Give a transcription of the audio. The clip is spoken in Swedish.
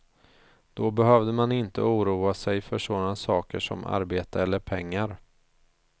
Då behövde man inte oroa sig för sådana saker som arbete eller pengar.